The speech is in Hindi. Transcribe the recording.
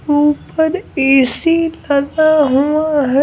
ऊपर ए_सी लगा हुआ है।